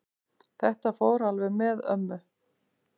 Þetta fór alveg með ömmu.